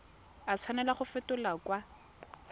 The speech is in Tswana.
a tshwanela go fetolwa kwa